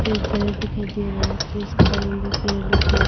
एक घर दिखाई दे रहा है इसलिए इसके सामने पेड़ लगे हैं।